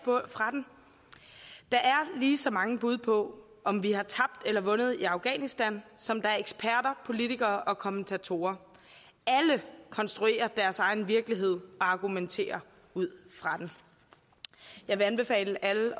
fra den der er lige så mange bud på om vi har tabt eller vundet i afghanistan som der er eksperter politikere og kommentatorer alle konstruerer deres egen virkelighed og argumenterer ud fra den jeg vil anbefale alle